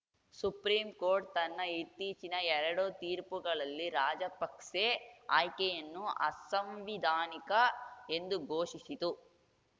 supreme court ತನ್ನ ಇತ್ತೀಚಿನ ಎರಡು ತೀರ್ಪುಗಳಲ್ಲಿ ರಾಜಪಕ್ಸೆ ಆಯ್ಕೆಯನ್ನು ಅಸಾಂವಿಧಾನಿಕ ಎಂದು ಘೋಷಿಸಿತು